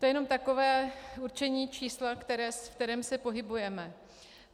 To je jen takové určení čísla, ve kterém se pohybujeme